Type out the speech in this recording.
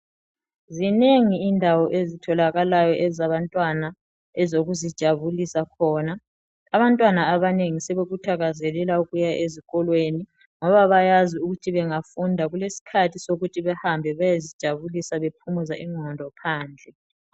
Zinengi indawo ezitholakalayo ezabantwana ezokuzijabulisa khona. Abantwana abanengi sebekuthakazelela ukuya ezikolweni ngoba bayazi ukuthi bengafunda kulesikhathi sokuthi behambe beyezijabulisa bephumuza ingqondo phandle